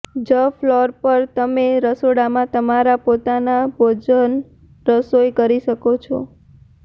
જ ફ્લોર પર તમે રસોડામાં તમારા પોતાના ભોજન રસોઇ કરી શકો છો